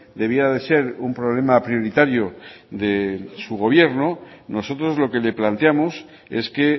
debía de ser un problema prioritario de su gobierno nosotros lo que le planteamos es que